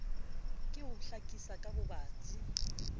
ke ho hlakisa ka bobatsi